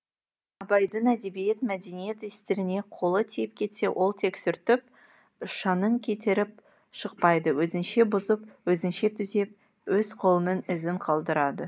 абайдың әдебиет мәдениет істеріне қолы тиіп кетсе ол тек сүртіп шаңын кетіріп шықпайды өзінше бұзып өзінше түзеп өз қолының ізін қалдырады